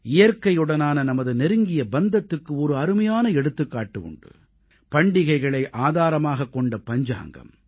இயற்கையுடனான நமது நெருங்கிய பந்தத்துக்கு ஒரு அருமையான எடுத்துக்காட்டு உண்டு பண்டிகைகளை ஆதாரமாகக் கொண்ட பஞ்சாங்கம்